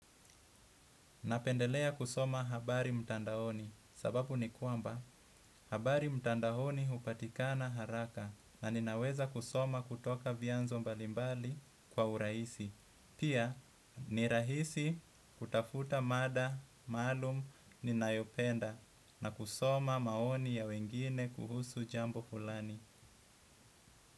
Napendelea kusoma habari mtandaoni sababu ni kwamba habari mtandaoni hupatikana haraka na ninaweza kusoma kutoka vianzo mbalimbali kwa urahisi. Pia ni rahisi kutafuta mada, maalum, ninayopenda na kusoma maoni ya wengine kuhusu jambo fulani.